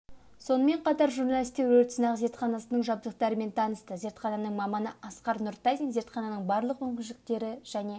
сонымен қатар журналистер өрт сынақ зертханасының жабдықтарымен танысты зертхананың маманы асқар нұртазин зертхананың барлық мүмкіншіліктері және